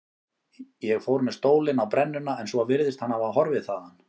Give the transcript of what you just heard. Ég fór með stólinn á brennuna en svo virðist hann hafa horfið þaðan.